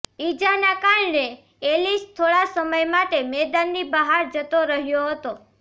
ઇજાને કારણે એલિસ થોડા સમય માટે મેદાનની બહાર જતો રહ્યો હતો